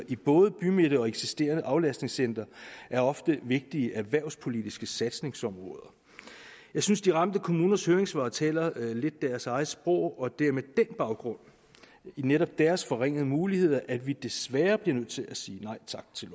i både bymidte og eksisterende aflastningscentre er ofte vigtige erhvervspolitiske satsningsområder jeg synes de ramte kommuners høringssvar taler lidt deres eget sprog og det er med baggrund i netop deres forringede muligheder at vi desværre bliver nødt til at sige nej tak til